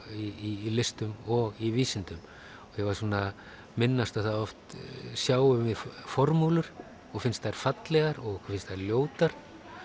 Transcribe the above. í listum og í vísindum ég var svona að minnast á það að oft sjáum við formúlur og finnst þær fallegar og finnst þær ljótar